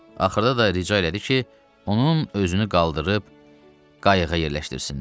Axırda da rica elədi ki, onun özünü qaldırıb qayıqa yerləşdirsinlər.